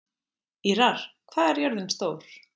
Ýrar, hvað er jörðin stór?